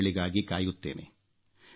ಸಂದೇಶಗಳಿಗಾಗಿ ಕಾಯುತ್ತೇನೆ